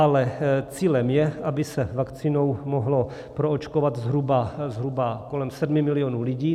Ale cílem je, aby se vakcínou mohlo proočkovat zhruba kolem 7 milionů lidí.